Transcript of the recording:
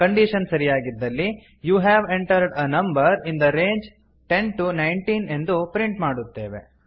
condition ಸರಿಯಾಗಿದ್ದಲ್ಲಿ you have entered a number in the range ten to nineteen ಎಂದು print ಮಾಡುತ್ತೇವೆ